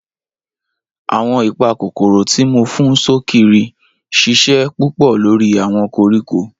Awọn ipakokoro ti mo fun sokiri ṣiṣẹ pupọ lori awọn koriko.